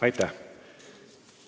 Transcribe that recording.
Aitäh!